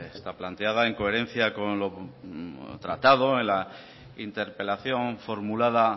está planteada en coherencia con lo tratado en la interpelación formulada